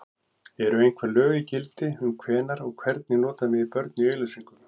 Eru einhver lög í gildi um hvenær og hvernig nota megi börn í auglýsingum?